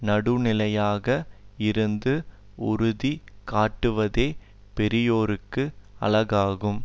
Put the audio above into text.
நடுவுநிலையாக இருந்து உறுதி காட்டுவதே பெரியோர்க்கு அழகாகும்